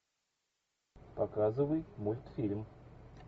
показывай мультфильм